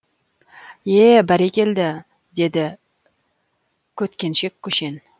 ее бәрекелді деді көткеншек көшен